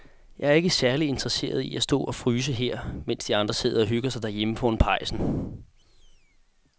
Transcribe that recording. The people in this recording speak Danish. Jeg er ikke særlig interesseret i at stå og fryse her, mens de andre sidder og hygger sig derhjemme foran pejsen.